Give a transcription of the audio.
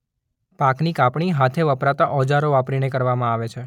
પાકની કાપણી હાથે વપરાતા ઓજારો વાપરીને કરવામાં આવે છે.